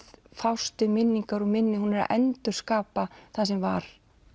fást við minningar og minni hún er að endurskapa það sem var